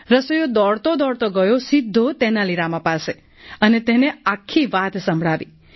રસોઈયો દોડતો દોડતો ગયો સીધો તેનાલી રામા પાસે અને તેને આખી વાત સંભળાવી